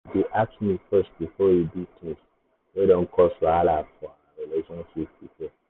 he dey ask me first before he do things wey don cause wahala for our relationship before.